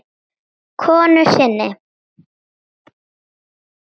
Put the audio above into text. konu sinni.